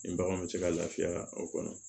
Nin baganw bɛ se ka lafiya o kɔnɔ